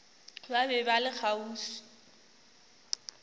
ba be ba le kgauswi